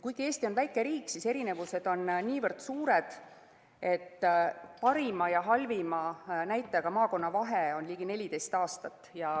Kuigi Eesti on väike riik, on erinevused niivõrd suured, et parima ja halvima näitajaga maakonna vahe on ligi 14 aastat.